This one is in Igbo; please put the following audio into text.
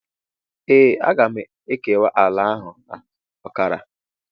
Ee, aga m ekewa ala ahụ na ọkara.